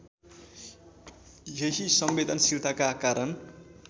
यही संवेदनशीलताका कारण